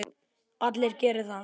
Allir geri það.